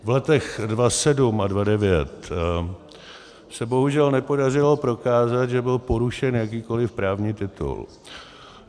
V letech 2007 a 2009 se bohužel nepodařilo prokázat, že byl porušen jakýkoliv právní titul.